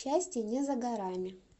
счастье не за горами